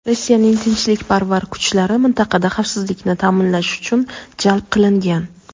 Rossiyaning tinchlikparvar kuchlari mintaqada xavfsizlikni ta’minlash uchun jalb qilingan.